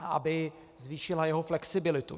Aby zvýšila jeho flexibilitu.